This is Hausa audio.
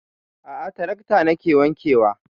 A'a trakta nake wanke wa